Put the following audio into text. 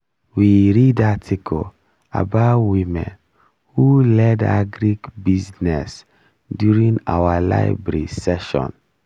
we read article about women who led agric business during our library session